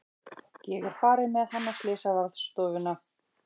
Ég er farin með hann á slysavarðstofuna.